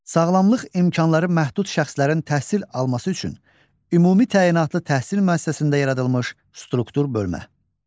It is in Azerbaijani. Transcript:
Sağlamlıq imkanları məhdud şəxslərin təhsil alması üçün ümumi təyinatlı təhsil müəssisəsində yaradılmış struktur bölmə.